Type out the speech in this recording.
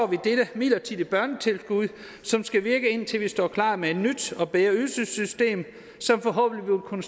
vi dette midlertidige børnetilskud som skal virke indtil vi står klar med et nyt og bedre ydelsessystem som forhåbentlig vil kunne